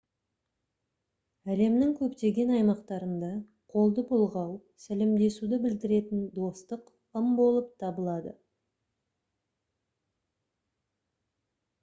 әлемнің көптеген аймақтарында қолды бұлғау сәлемдесуді білдіретін достық ым болып табылады